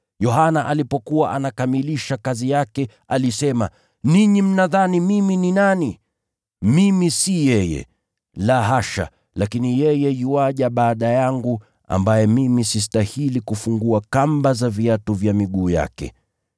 Yohana alipokuwa anakamilisha kazi yake, alisema: ‘Ninyi mnadhani mimi ni nani? Mimi si yeye. La hasha, lakini yeye yuaja baada yangu, ambaye mimi sistahili kufungua kamba za viatu vya miguu yake.’